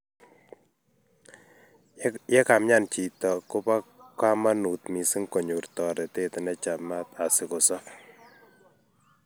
Ye kaimian chito, koba kamanut mising konyor toretet nechamaat asikosob